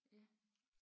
Ja